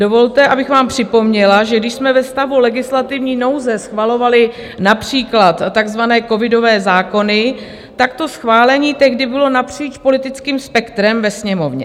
Dovolte, abych vám připomněla, že když jsme ve stavu legislativní nouze schvalovali například takzvané covidové zákony, tak to schválení tehdy bylo napříč politickým spektrem ve Sněmovně.